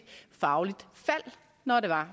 fagligt fald når